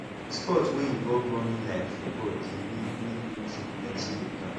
sport wey involve running like football de make make me drink plenty water